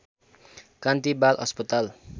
कान्ति बाल अस्पताल